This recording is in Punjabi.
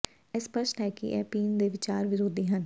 ਇਹ ਸਪਸ਼ਟ ਹੈ ਕਿ ਇਹ ਪੀਣ ਦੇ ਵਿਚਾਰ ਵਿਰੋਧੀ ਹਨ